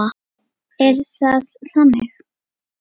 Er það þannig?